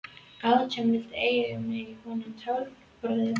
Átján vildu eiga mig í honum Tálknafirði.